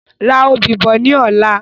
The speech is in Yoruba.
Ra òbí bọ̀ ni ọ̀la